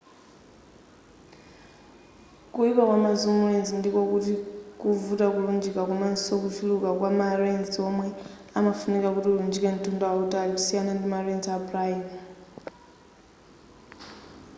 kuyipa kwa ma zoom lens ndiko kuti kuvuta kulunjika komaso kuchuluka kwa ma lens omwe amafunika kuti ulunjike mtunda wautali kusiyana ndi ma lens a prime